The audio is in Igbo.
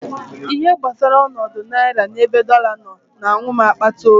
Ihe gbasara ọnọdụ naira n'ebe dọla nọ na-awụ m akpata oyi.